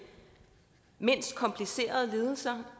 mindst komplicerede lidelser